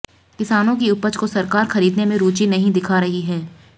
किसानों की उपज को सरकार खरीदने में रूची नही दिखा रही है